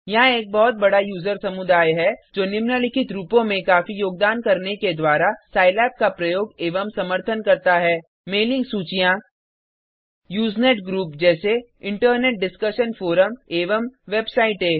यहाँ एक बहुत बड़ा यूजर समुदाय है जो निम्नलिखित रूपों में काफी योगदान करने के द्वारा सिलाब का प्रयोग एवं समर्थन करता है मेलिंग सूचियाँ यूजनेट ग्रुप जैसे इंटरनेट डिस्कशन फोरम एवं वेबसाइटें